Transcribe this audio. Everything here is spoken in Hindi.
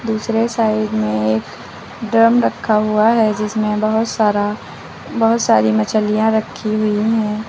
दूसरे साइड में एक ड्रम रखा हुआ है जिसमें बहुत सारा बहुत सारी मछलियां रखी हुई हैं।